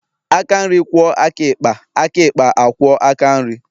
Aka nri kwuo aka ịkpa, aka ikpa a kwuo aka nri